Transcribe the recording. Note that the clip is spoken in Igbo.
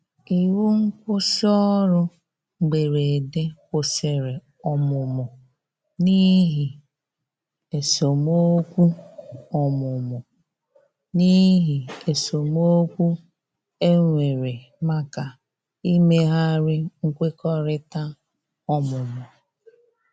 iwu nkwusi orụ mgberede kwụsìrì ọmụmụ n'ihi esemeokwụ ọmụmụ n'ihi esemeokwụ enwere maka imeghari nkwekọrịta ọmụmụ